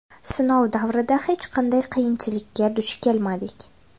Sinov davrida hech qanday qiyinchilikka duch kelmadik.